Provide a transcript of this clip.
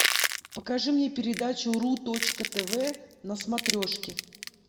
покажи мне передачу ру точка тв на смотрешке